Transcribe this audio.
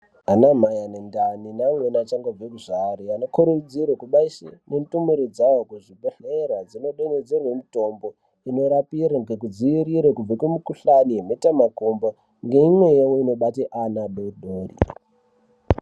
Ana mai ane ndani neamweni achangobva kuzvara, anokurudzirwe kubaise ndumure dzawo kuzvibhedhlere dzindodontedzerwe mutombo inorapire ngekudzivirire kubve kumikuhlani yemhetamakumbo neimwe yawo inobate ana adodori.